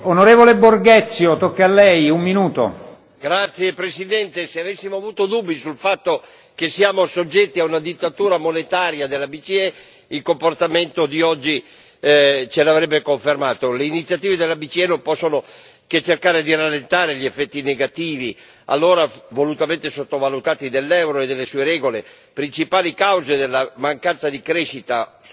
Signor Presidente, onorevoli colleghi, se avessimo avuto dubbi sul fatto che siamo soggetti a una dittatura monetaria della BCE, il comportamento di oggi ce lo avrebbe confermato. Le iniziative della BCE non possono che cercare di rallentare gli effetti negativi, allora volutamente sottovalutati, dell'euro e delle sue regole, principali cause della mancanza di crescita strutturale dell'Europa.